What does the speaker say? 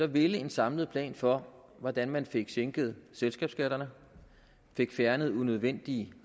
ville en samlet plan for hvordan man fik sænket selskabsskatterne fik fjernet unødvendige